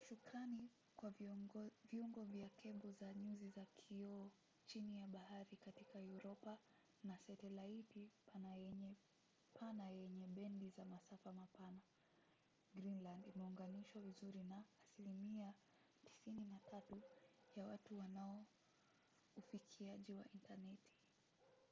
shukrani kwa viungo vya kebo za nyuzi za kioo chini ya bahari katika uropa na satelaiti pana yenye bendi za masafa mapana greenland imeunganishwa vizuri na asilimia 93 ya watu wana ufikiaji wa intaneti